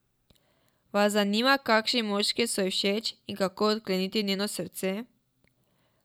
Vas zanima kakšni moški so ji všeč in kako odkleniti njeno srce?